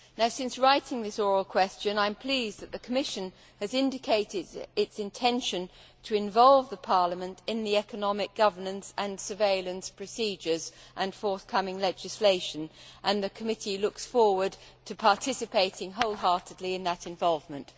Since writing this oral question, I am pleased that the Commission has indicated its intention to involve Parliament in economic governance, surveillance procedures and forthcoming legislation, and the committee looks forward to participating wholeheartedly in that involvement.